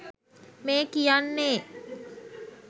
මේ කියන්නේ